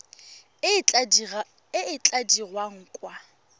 e e tla dirwang kwa